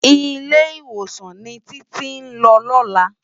Ilé-Iwósán ni Titi n lò lòlá